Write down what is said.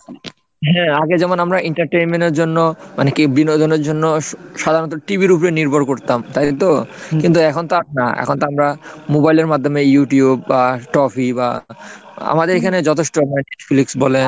হ্যাঁ, আগে যেমন আমরা entertainment এর জন্য মানে কি বিনোদনের জন্য TV উপরে নির্ভর করতাম তাইতো? কিন্তু এখন তো না এখন তো আমরা mobile এর মাধ্যমে youtube বা বা আমাদের এখানে যথেষ্ট netflix বলেন,